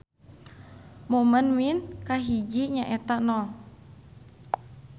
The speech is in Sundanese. Momen mean kahiji nyaeta nol.